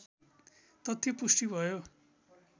तथ्य पुष्टि भयो